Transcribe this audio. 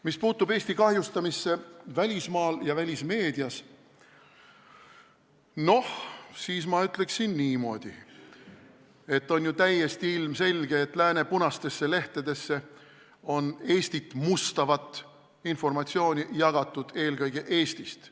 Mis puutub Eesti kahjustamisse välismaal ja välismeedias, siis ma ütleksin niimoodi, et on ju täiesti ilmselge, et lääne punastesse lehtedesse on Eestit mustavat informatsiooni jagatud eelkõige Eestist.